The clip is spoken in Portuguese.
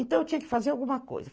Então eu tinha que fazer alguma coisa.